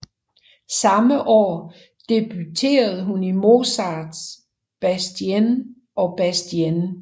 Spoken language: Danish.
Samme år debuterede hun i Mozarts Bastien og Bastienne